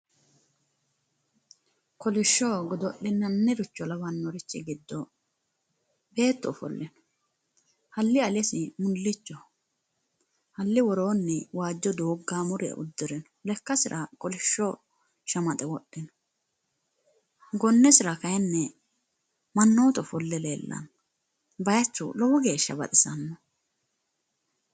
Kolisho godo'linani richo lawanor giddo beetu ofolle no halli alesi mullichu no halli worooni waajjo doogaamore uddire no lekksira kolisho shamaxe wodhe no gonnesira kayinni manootu ofolle leelanno baayichu lowo geesha baxisano.